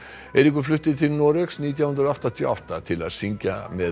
Eiríkur flutti til Noregs nítján hundruð áttatíu og átta til að syngja með